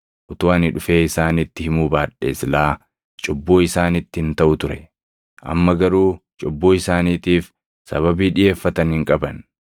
Utuu ani dhufee isaanitti himuu baadhee silaa cubbuu isaanitti hin taʼu ture. Amma garuu cubbuu isaaniitiif sababii dhiʼeeffatan hin qaban.